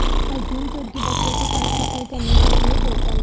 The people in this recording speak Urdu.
عظیم ترکی بچوں کے ساتھ سفر کرنے کے لئے ہوٹل